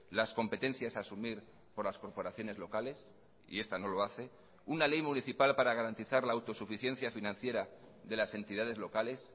las competencias a asumir por las corporaciones locales y esta no lo hace una ley municipal para garantizar la autosuficiencia financiera de las entidades locales